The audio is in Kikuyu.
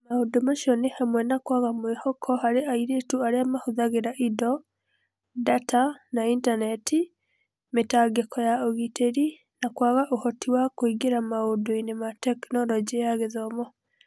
Maũndũ macio ni hamwe na kwaga mwĩhoko hari airitu aria mahũthagĩra indo, data, na intaneti, mitangiko ya ũgitĩri, na kwaga uhoti wa kũingĩra maũndũ-inĩ ma Tekinoronjĩ ya Gĩthomo.